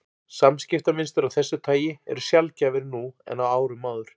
Samskiptamynstur af þessu tagi eru sjaldgæfari nú en á árum áður.